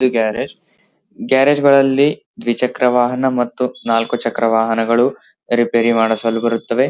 ಇದು garage garage ಗಳಲ್ಲಿ ದ್ವಿಚಕ್ರ ವಾಹನ ಮತ್ತು ನಾಲಕ್ಕು ಚಕ್ರ ವಾಹನಗಳು ರಿಪೇರಿ ಮಾಡಿಸಲು ಬರುತ್ತವೆ .